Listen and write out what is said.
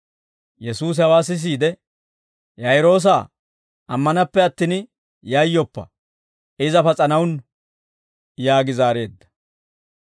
Yesuusi hawaa sisiide, «Yaa'iroosaa, ammanappe attin, yayyoppa! Iza pas'anawunnu» yaagi zaareedda.